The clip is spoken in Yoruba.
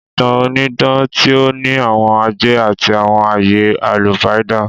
Ìtàn onídán ti o ní àwon àjẹ́ àtí àwon ayé àlùpàídà.